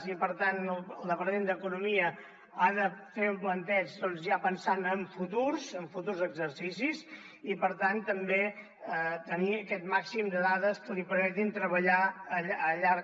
i per tant el departament d’economia ha de fer un plantejament doncs ja pensant en futurs exercicis i per tant també tenir aquest màxim de dades que li permetin treballar a llarg